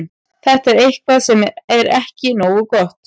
Þetta er eitthvað sem er ekki nógu gott.